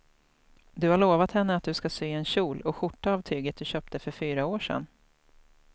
Du har lovat henne att du ska sy en kjol och skjorta av tyget du köpte för fyra år sedan.